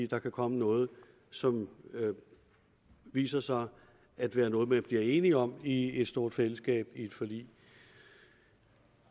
der kan komme noget som viser sig at være noget man bliver enige om i et stort fællesskab i et forlig